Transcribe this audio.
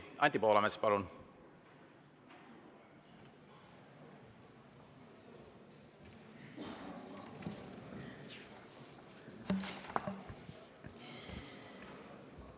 Anti Poolamets, palun!